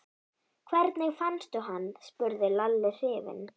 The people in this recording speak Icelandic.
Hvernig fannstu hann? spurði Lalli hrifinn.